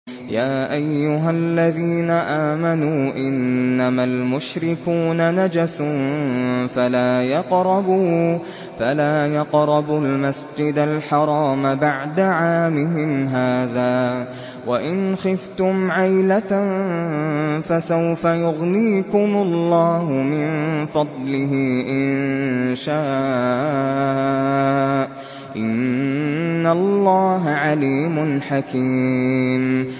يَا أَيُّهَا الَّذِينَ آمَنُوا إِنَّمَا الْمُشْرِكُونَ نَجَسٌ فَلَا يَقْرَبُوا الْمَسْجِدَ الْحَرَامَ بَعْدَ عَامِهِمْ هَٰذَا ۚ وَإِنْ خِفْتُمْ عَيْلَةً فَسَوْفَ يُغْنِيكُمُ اللَّهُ مِن فَضْلِهِ إِن شَاءَ ۚ إِنَّ اللَّهَ عَلِيمٌ حَكِيمٌ